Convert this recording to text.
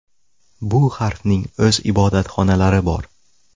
Bu harfning o‘z ibodatxonalari bor.